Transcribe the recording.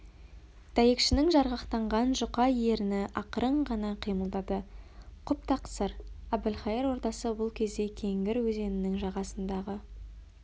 дәйекшінің жарғақтанған жұқа ерні ақырын ғана қимылдады құп тақсыр әбілқайыр ордасы бұл кезде кеңгір өзенінің жағасындағы